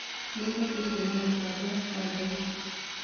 nibatie kũona mubango wa thaũtĩ